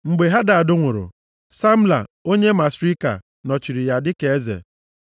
Mgbe Hadad nwụrụ, Samla onye Masrika nọchiri ya dịka eze.